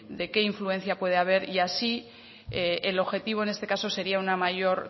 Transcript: de qué influencia pueda haber y así el objetivo en este caso sería una mayor